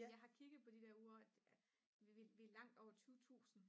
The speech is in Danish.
jeg har kigget på de der ure og vi er langt over 20.000